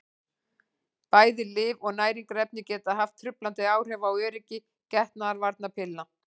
bæði lyf og næringarefni geta haft truflandi áhrif á öryggi getnaðarvarnarpilla